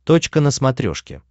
точка на смотрешке